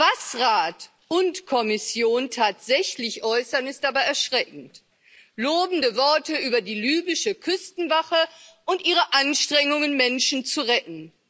Was Rat und Kommission tatsächlich äußern, ist aber erschreckend lobende Worte über die libysche Küstenwache und ihre Anstrengungen, Menschen zu retten.